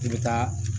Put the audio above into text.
I bɛ taa